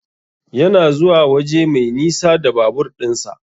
Yana zuwa waje mai nisa da babur din sa.